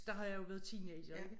Der har jeg jo været teenager ikke